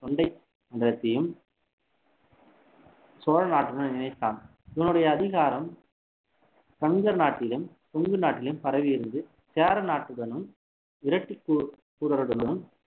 சோழ நாட்டுடன் இணைத்தான் இவனுடைய அதிகாரம் கங்கர் நாட்டிலும் கொங்கு நாட்டிலும் பரவியிருந்து சேர நாட்டுடனும்